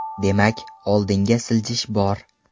Demak oldinga siljish bor.